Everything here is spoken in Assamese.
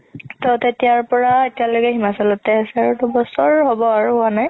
তৌ তেতিয়াৰ পৰা এতিয়া লৈকে হিমাচলতে আছে তাৰ দুবছৰ হ'ব আৰু হুৱা নাই